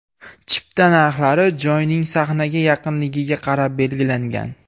Chipta narxlari joyning sahnaga yaqinligiga qarab belgilangan.